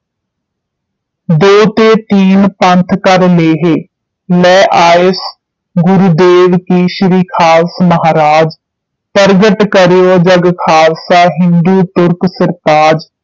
ਦੋ ਤੇ ਤੀਨ ਪੰਥ ਕਰ ਲੋਹੈਂ ਲੈ ਆਯਸ ਗੁਰੂਦੇਵਾਂ ਕੀ ਸ਼੍ਰੀ ਖਾਲਸ ਮਹਾਰਾਜ ਪ੍ਰਗਟ ਕਰਕੇ ਜਗ ਖਾਲਸਾ ਹਿੰਦੂ ਤੁਰਕ ਸਿਰਤਾਜ